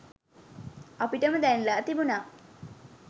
අපිටම දැනිලා තිබුනා.